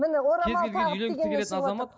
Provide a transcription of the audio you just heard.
міне орамал тағып дегеннен шығыватыр